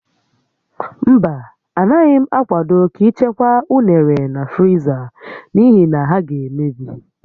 Mba, Anaghị m akwado ka ị chekwaa unere na friza n'ihi na ha ga-emebi